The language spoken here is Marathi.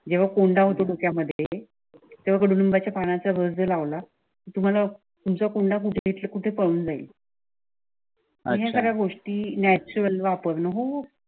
जेव्हा कोंडा होतो डोक्यामध्ये तेवढेतेव्हा कडू निबाच्या पानाचा रस जर लावल तुम्हाला तुमच्या कुंडा कुठेकुठे पळून जाईल. आणिखूप सार्या गोष्टी नॅचरल वापरून हो.